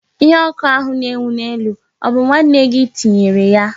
Ihe oku ahụ na enwu na elu, obu nwanne gi tinyere ya?